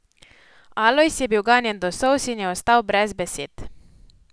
Alojz je bil ganjen do solz in je ostal brez besed.